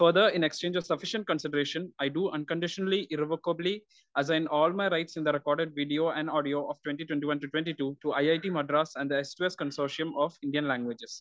speaker 1 for the exchange of sufficient consideration I do unconditionally revocably assign all my rights in the recorded video and audio of twenty twenty one to twenty two for IIT Madras and സോഷ്യം of Indian languages